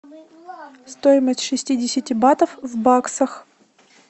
стоимость шестидесяти батов в баксах